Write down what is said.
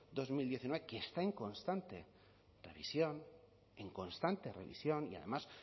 dos mil diecinueve que está en constante revisión en constante revisión y además